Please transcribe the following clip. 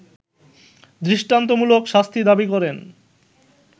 দৃষ্টান্তমূলক শাস্তি দাবি করেন